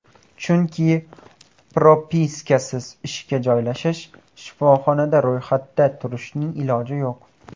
Chunki propiskasiz ishga joylashish, shifoxonada ro‘yxatda turishning iloji yo‘q.